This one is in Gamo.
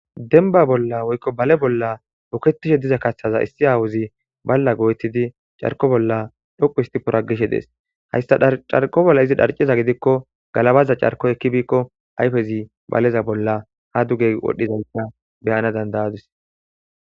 denba bolla woykko bale bolla buketishe diza kathtaza issi aawozi balla gochiddi carko bolla dhoqu histi poragishe dees hayssa carko bolla izi dharciza gidikko galabaza carko ekki biikko ayfezi baleza bolla ha duge wodhdhizayssa beyana danda7adis